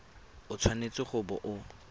o tshwanetse go bo o